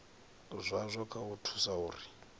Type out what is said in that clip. zwazwo kha u thusa uri